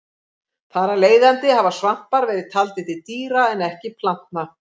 Þar af leiðandi hafa svampar verið taldir til dýra en ekki plantna.